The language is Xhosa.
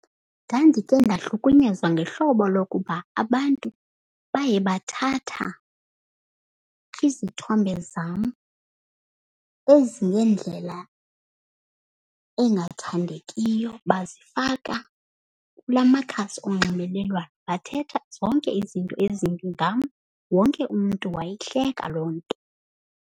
Ndandike ndahlukunyezwa ngehlobo lokuba abantu baye bathatha izithombe zam eziye ndlela engathandekiyo bazifaka kula makhasi onxibelelwano. Bathetha zonke izinto ezimbi ngam, wonke umntu wayihleka loo nto.